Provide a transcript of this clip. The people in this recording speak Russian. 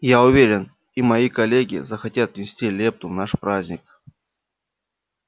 я уверен и мои коллеги захотят внести лепту в наш праздник